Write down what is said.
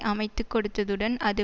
அமைத்து கொடுத்ததுடன் அது